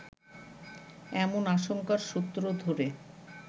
এমন আশঙ্কার সূত্র ধরে